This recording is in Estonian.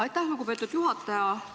Aitäh, lugupeetud juhataja!